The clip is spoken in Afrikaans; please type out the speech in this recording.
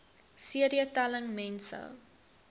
cd telling mense